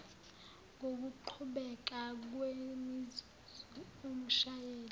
ngokuqhubeka kwemizuzu umshayeli